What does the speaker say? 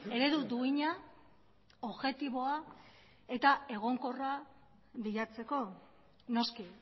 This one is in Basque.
eredu duina objektiboa eta egonkorra bilatzeko noski